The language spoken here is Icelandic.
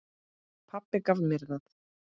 Pabbi gaf mér það.